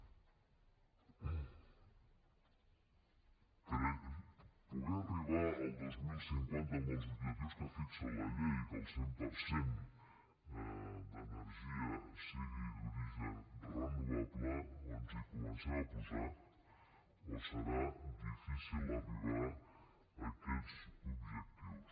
per poder arribar al dos mil cinquanta amb els objectius que fixa la llei que el cent per cent de l’energia sigui d’origen renovable o ens hi comencem a posar o serà difícil arribar a aquests objectius